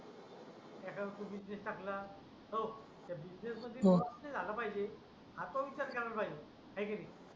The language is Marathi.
एखादा बिजनेस टाकला हो त्या बिजनेस मध्ये तुला किती झालं पाहिजे असा विचार केला पाहिजे आहे की नाही